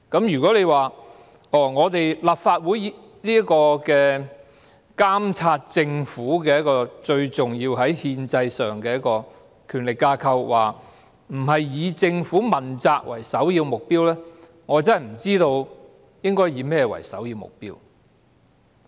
如果立法會——在憲制上是最重要的監察政府的權力架構——不是以政府問責為首要目標，我真的不知道應以甚麼為首要目標。